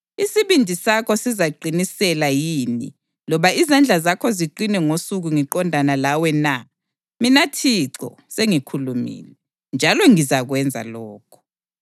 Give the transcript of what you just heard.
Isibindi sakho sizaqinisela yini loba izandla zakho ziqine ngosuku ngiqondana lawe na? Mina Thixo sengikhulumile, njalo ngizakwenza lokho.